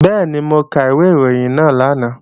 Bẹ́ẹ̀ni, mo ka ìwé ìròyìn náà lánàá